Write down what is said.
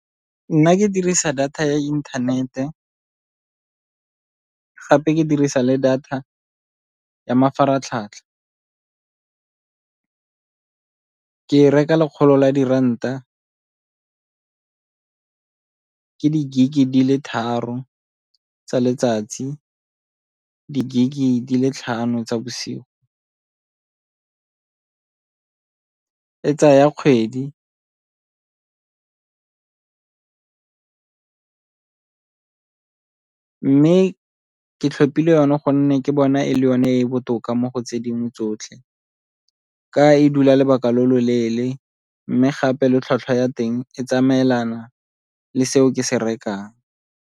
Nna ke dirisa data ya inthanete, gape ke dirisa le data ya mafaratlhatlha. Ke e reka lekgolo la diranta ke di-gig-i di le tharo tsa letsatsi di-gig-i di le tlhano tsa bosigo. E tsaya kgwedi, mme ke tlhopile yone gonne ke bona e le yone e e botoka mo go tse dingwe tsotlhe ka e dula lebaka lo lo leele mme gape le tlhwatlhwa ya teng e tsamaelana le seo ke se rekang.